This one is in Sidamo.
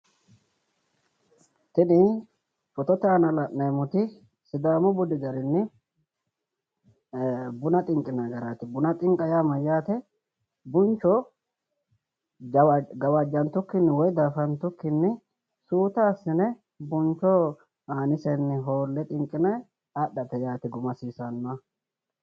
Tini phootote aana la'neemmoti sidaamu budi garini bunna xinqinanni garati, bunna xinqa yaa mayate buncho gawajantukkinni woyi dafatukinni suuta assine buncho aanisenni xinqine hoole addhate yaate guma hasiisanoha